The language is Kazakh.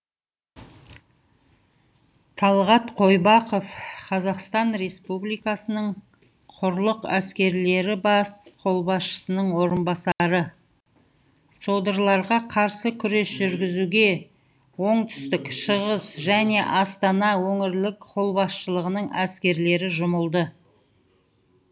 талғат қойбақов қазақстан республикасының құрлық әскерлері бас қолбасшысының орынбасары содырларға қарсы күрес жүргізуге оңтүстік шығыс және астана өңірлік қолбасшылығының әскерлері жұмылды